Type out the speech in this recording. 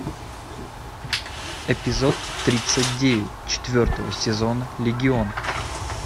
эпизод тридцать девять четвертого сезона легион